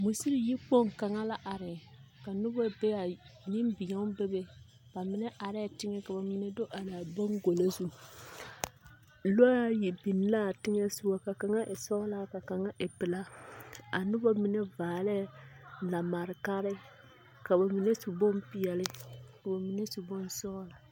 Mosiri yikpoŋ kaŋa la are, ka noba bee a nembeõ bebe, ba mine arԑԑ teŋԑ ka ba mine do araa boŋgolo zu. Lͻͻ ayi biŋ la a teŋԑ sogͻ ka kaŋa e sͻgelaa ka kaŋa e pelaa. a noba mine vaarԑԑ lamarekare, ka ba mine su bompeԑle ka ba mine su bonsͻgelͻ.